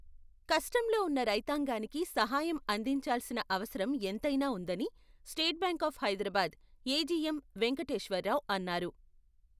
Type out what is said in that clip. కష్టంలో ఉన్న రైతాంగానికి సహాయం అందించాల్సిన అవసరం ఎంతైనా ఉందని, State Bank of Hyderabad AGM. Venkateshwar Rao అన్నారు.